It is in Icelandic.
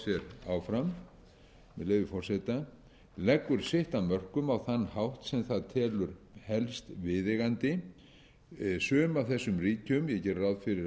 heldur boucher áfram með leyfi forseta leggur sitt af mörkum á þann hátt sem það telur helst viðeigandi sum af þessum ríkjum ég geri